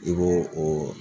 I b'o o